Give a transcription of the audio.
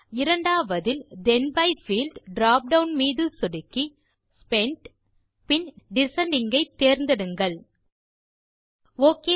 இரண்டாவதில் then by field drop down மீது சொடுக்கி spend பின் டிசெண்டிங் ஐ தேர்ந்தெடுங்கள் ஒக்